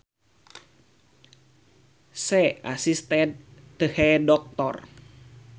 She assisted the doctor